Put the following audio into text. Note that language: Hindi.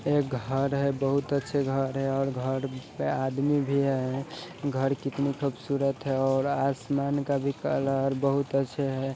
एक घर है| बहुत अच्छे घर है और घर पे आदमी भी है| घर कितनी खुबसुरत है और आसमान का कलर भी बहुत अच्छा है